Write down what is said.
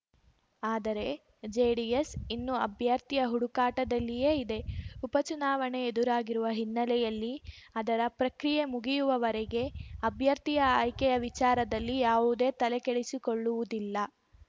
ಆದರೆ ಜೆಡಿಎಸ್‌ ಇನ್ನೂ ಅಭ್ಯರ್ಥಿಯ ಹುಡುಕಾಟದಲ್ಲಿಯೇ ಇದೆ ಉಪಚುನಾವಣೆ ಎದುರಾಗಿರುವ ಹಿನ್ನೆಲೆಯಲ್ಲಿ ಅದರ ಪ್ರಕ್ರಿಯೆ ಮುಗಿಯುವವರೆಗೆ ಅಭ್ಯರ್ಥಿಯ ಆಯ್ಕೆಯ ವಿಚಾರದಲ್ಲಿ ಯಾವುದೇ ತಲೆಕೆಡಿಸಿಕೊಳ್ಳುವುದಿಲ್ಲ